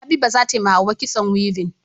Habiba zatayi wa hauwa kitson weaving